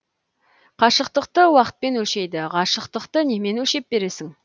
қашықтықты уақытпен өлшейді ғашықтықты немен өлшеп бересің